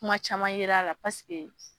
Kuma caman yer'a a la paseke